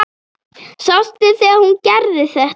Sástu þegar hún gerði þetta?